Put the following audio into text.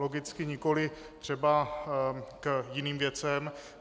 Logicky nikoliv třeba k jiným věcem.